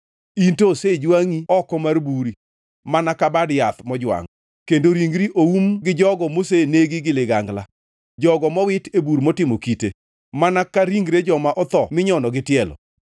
In to osejwangʼi oko mar buri mana ka bad yath mojwangʼ; kendo ringri oum gi jogo mosenegi gi ligangla, jogo mowiti e bur motimo kite. Mana ka ringre joma otho minyono gi tielo,